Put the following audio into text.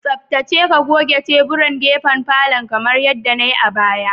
Tsaftace ka goge teburan gefen falon kamar yadda nai a baya